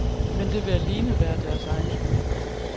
Men det vil alene være deres egen skyld.